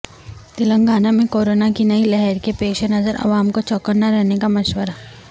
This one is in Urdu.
تلنگانہ میں کورونا کی نئی لہر کے پیش نظر عوام کو چوکنا رہنے کا مشورہ